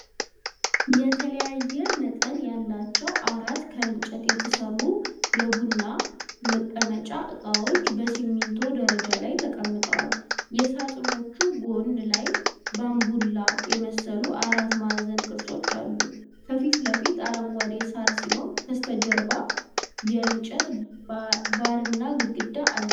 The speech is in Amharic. የተለያየ መጠን ያላቸው አራት ከእንጨት የተሠሩ የቡና መቀመጫ ዕቃዎች በሲሚንቶ ደረጃ ላይ ተቀምጠዋል። የሳጥኖቹ ጎን ላይ ባንቡል የመሰሉ አራት ማዕዘን ቅርጾች አሉ። ከፊት ለፊት አረንጓዴ ሣር ሲኖር፣ ከበስተጀርባ የእንጨት በርና ግድግዳ አለ።